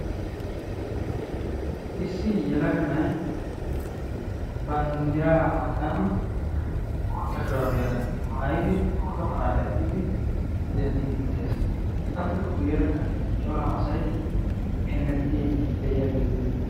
Issi yelaga na'ay banddiraa matan bootta shuraabiyaa maayidi pooto mala eqqidi denddiiddi de'ees. Appe guyyeerakka cora asay hemettiiddi de'iyaagee beettees.